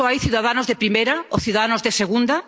¿Acaso hay ciudadanos de primera y ciudadanos de segunda?